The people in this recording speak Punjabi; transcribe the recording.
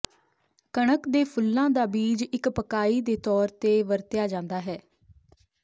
ਕਣਕ ਦੇ ਫੁੱਲਾਂ ਦਾ ਬੀਜ ਇੱਕ ਪਕਾਈ ਦੇ ਤੌਰ ਤੇ ਵਰਤਿਆ ਜਾਂਦਾ ਹੈ